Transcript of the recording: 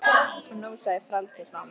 Og nú sá ég frelsið fram